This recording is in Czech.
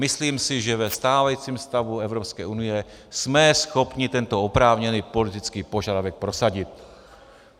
Myslím si, že ve stávajícím stavu Evropské unie jsme schopni tento oprávněný politický požadavek prosadit.